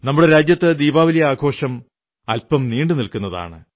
നമ്മുടെ രാജ്യത്ത് ദീപാവലി ആഘോഷം അല്പം നീണ്ടുനില്ക്കുന്നതാണ്